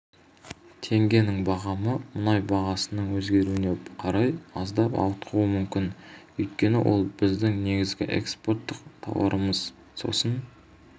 теңгенің бағамы мұнай бағасының өзгеруіне қарай аздап ауытқуы мүмкін өйткені ол біздің негізгі экспорттық тауарымыз сосын